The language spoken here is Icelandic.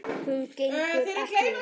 Hún gengur ekki upp.